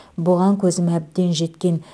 бұған көзім әбден жеткен